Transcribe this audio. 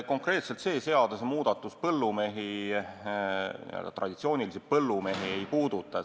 Konkreetselt see seadusemuudatus n-ö traditsioonilisi põllumehi ei puuduta.